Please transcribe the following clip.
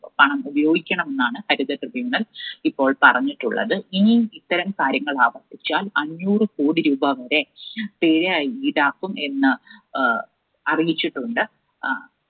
പണം ഉപയോഗിക്കണം എന്നാണ് ഹരിത Tribunal ഇപ്പോൾ പറഞ്ഞിട്ടുള്ളത്. ഇനിയും ഇത്തരം കാര്യങ്ങൾ ആവർത്തിച്ചാൽ അഞ്ഞൂറുകോടി രൂപ വരെ പിഴ ഈടാക്കും എന്ന് അഹ് അറിയിച്ചിട്ടുണ്ട്. അഹ്